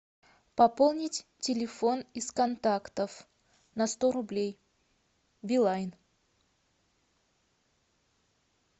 пополнить телефон из контактов на сто рублей билайн